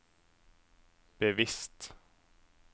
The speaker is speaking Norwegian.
bevisst